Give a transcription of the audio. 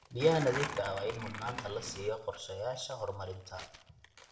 Biyaha nadiifka ah waa in mudnaanta la siiyo qorshayaasha horumarinta.